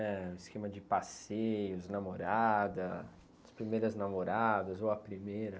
Eh, o esquema de passeios, namorada, as primeiras namoradas ou a primeira?